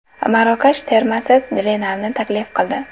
Marokash termasi Renarni taklif qildi.